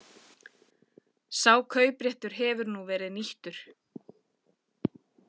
Sá kaupréttur hefur nú verið nýttur